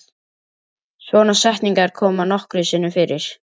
Svona setningar koma nokkrum sinnum fyrir.